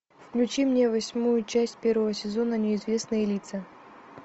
включи мне восьмую часть первого сезона неизвестные лица